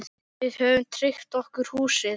Við höfum tryggt okkur húsið.